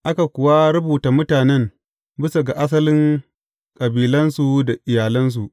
Aka kuwa rubuta mutanen bisa ga asalin kabilansu da iyalansu.